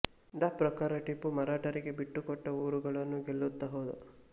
the ಪ್ರಕಾರ ಟಿಪ್ಪು ಮರಾಠರಿಗೆ ಬಿಟ್ಟುಕೊಟ್ಟ ಊರುಗಳನ್ನು ಗೆಲ್ಲುತ್ತಾ ಹೋದ